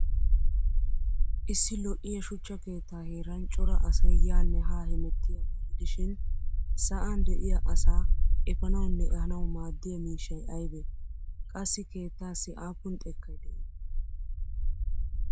Issi lo'iya shuchcha keettaa heeran cora asay yaanne haa hemettiyaagaa gidishin sa'an de'iya asaa efanawunne ehanawu maaddiya miishshay aybee? Qassi keettaassi aappun xekkay de'ii?